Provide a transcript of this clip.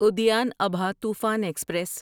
Udyan Abha Toofan express